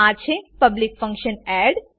આ છે public function add add